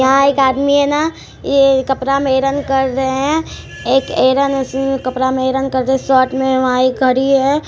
यहाँ एक आदमी है ना यह कपड़ा में आइरन कर रहे हैं एक आइरन कपड़ा में आइरन कर रहे हैं शर्ट में एक घड़ी है।